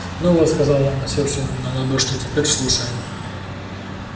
ну вот сказал он усевшись ему на лодыжки теперь слушай